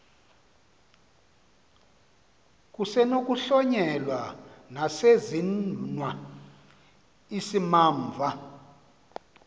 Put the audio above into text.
kusenokuhlonyelwa nesesenziwa isimamva